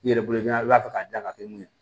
I yɛrɛ bolo i b'a fɔ k'a dan ka kɛ mun ye